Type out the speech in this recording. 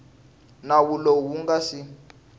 nawu lowu wu nga si